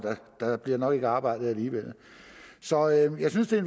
der bliver nok ikke arbejdet alligevel så jeg synes det